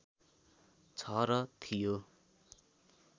छ र थियो